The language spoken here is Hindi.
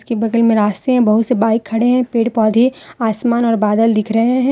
बगल में रास्ते हैं बहुत से बाइक खड़े हैं पेड़ पौधे आसमान और बादल दिख रहे हैं।